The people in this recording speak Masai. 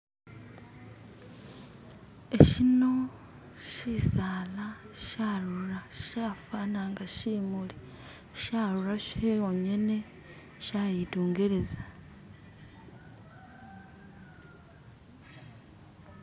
Esyino syisala syarula syafana nga syimuli, syaruura syongene, shayitungeleza.